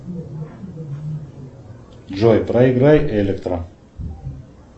джой проиграй электро